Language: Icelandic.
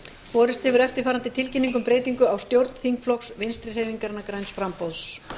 borist hefur eftirfarandi tilkynning um breytingu á stjórn þingflokks vinstri hreyfingarinnar græns framboðs